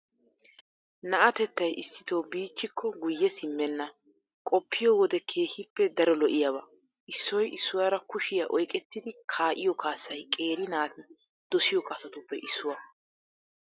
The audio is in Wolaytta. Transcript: Na'atettay issito biichchikko guyye simmenna, qoppiyo wode keehippe daro lo'iyaaba. Issoy issuwaara kushiyaa oyqqettidi kaa'iyo kaassay qeeri naati dosiyo kaassatuppe issuwaa.